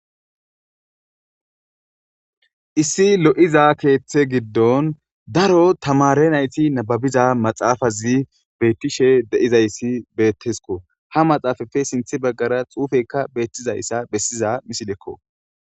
issi lo'iza keeththe giddon daro tamare nayti nababiza maxaafazi bettishe de'izayssi beettesko ha maxaafafe sinthi baggara xuufekka beettizayssa bessiza misilekko.